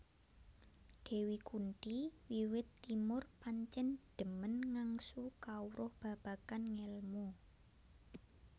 Dewi Kunthi wiwit timur pancen dhemen ngangsu kawruh babagan ngelmu